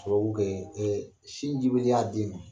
Tubabu bɛ ɛ sin a den ma